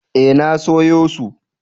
Eh na sayo su.